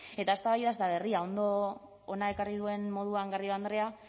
eta eztabaida ez da berria hona ekarri duen moduan garrido andrea